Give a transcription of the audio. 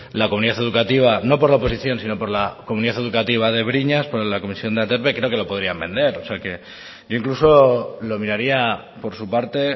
la comunidad educativa no por la oposición sino por la comunidad educativa de briñas con la comisión de aterpe creo que lo podrían vender o sea que incluso lo miraría por su parte